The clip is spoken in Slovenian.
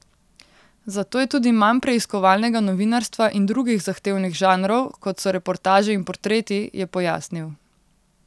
Zato je tudi manj preiskovalnega novinarstva in drugih zahtevnih žanrov, kot so reportaže in portreti, je pojasnil.